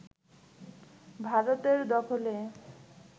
ভারতের দখলে